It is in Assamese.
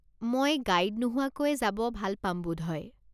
মই গাইড নোহোৱাকৈয়ে যাব ভাল পাম বোধহয়।